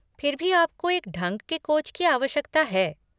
फिर भी आपको एक ढंग के कोच की आवश्यकता है।